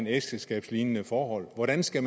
ægteskabslignende forhold hvordan skal